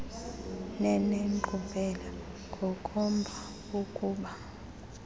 nenenkqubela ngokomba wokuba